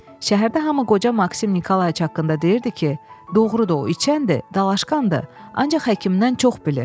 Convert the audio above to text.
Şəhərdə hamı qoca Maksim Nikolayc haqqında deyirdi ki, doğurdan da o içəndir, dalaşkandır, ancaq həkimdən çox bilir.